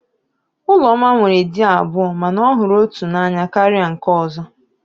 Ụlọma nwere di abụọ mana ọ hụrụ otu n'anya karịa nke ọ̀zọ́.